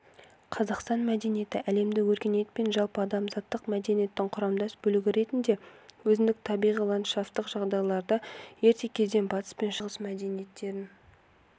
қазақстан мәдениеті әлемдік өркениет пен жалпыадамзаттық мәдениеттің құрамдас бөлігі ретінде өзіндік табиғи-ландшафттық жағдайларда ерте кезден батыс пен шығыс мәдениеттерін